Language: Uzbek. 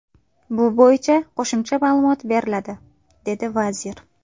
Bu bo‘yicha qo‘shimcha ma’lumot beriladi”, dedi vazir.